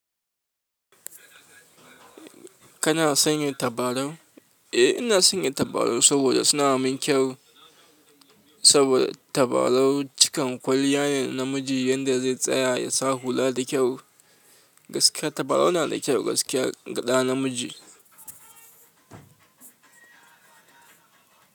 Kana sanya tabarau? Eh, ina sanya tabarau saboda suna min kyau. Saboda tabarau cikan kwaliya ne namiji, yanda zai tsaya ya sa hula da kyau. Gaskiya tabarau na da kyau gaskiya ga ɗa namiji.